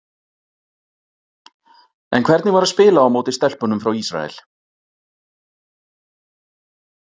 En hvernig var að spila á móti stelpunum frá Ísrael?